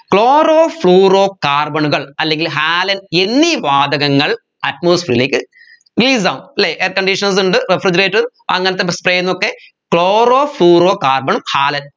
chloro fluoro carbon ഉകൾ അല്ലെങ്കിൽ halon എന്നീ വാതകങ്ങൾ atmosphere ലേക്ക് release ആവും അല്ലെ air conditioners ഉണ്ട് refrigerator അങ്ങനത്തെ spray ന്നൊക്കെ chloro fluoro carbon halon